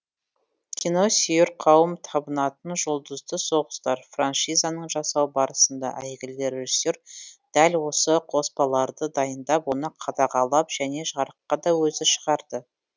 киносүйер қауым табынатын жұлдызды соғыстар франшизасын жасау барысында әйгілі режиссер дәл осы қоспаларды дайындап оны қадағалап және жарыққа да өзі шығарды